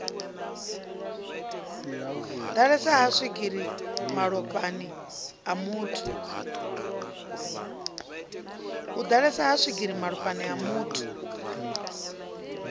ḓalesa ha swigiri malofhani amuthu